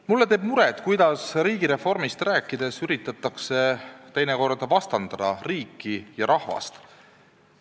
Mulle teeb muret, kuidas riigireformist rääkides üritatakse teinekord vastandada riiki ja rahvast.